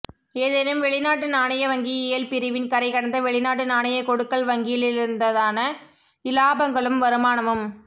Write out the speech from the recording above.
ஏதேனும் வெளிநாட்டு நாணய வங்கியியல் பிரிவின் கரைகடந்த வெளிநாட்டு நாணய கொடுக்கல் வாங்கலிலிருந்தான இலாபங்களும் வருமானமும்